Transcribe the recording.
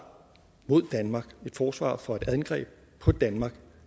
mod danmark et forsvar for et angreb på danmark